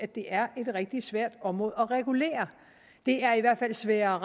det er et rigtig svært område at regulere det er i hvert fald sværere